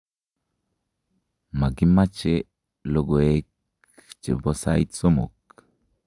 makimache lokoek che po sait somok